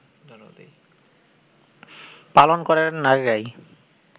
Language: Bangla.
পালন করেন নারীরাই